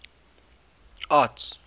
arts